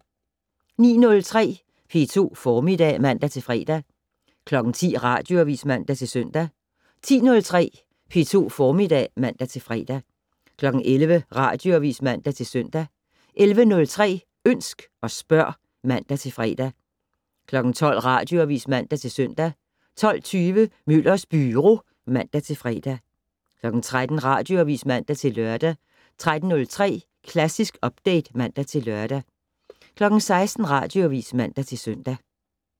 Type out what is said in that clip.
09:03: P2 Formiddag (man-fre) 10:00: Radioavis (man-søn) 10:03: P2 Formiddag (man-fre) 11:00: Radioavis (man-søn) 11:03: Ønsk og spørg (man-fre) 12:00: Radioavis (man-søn) 12:20: Møllers Byro (man-fre) 13:00: Radioavis (man-lør) 13:03: Klassisk Update (man-lør) 16:00: Radioavis (man-søn)